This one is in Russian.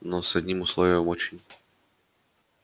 но с одним условием очень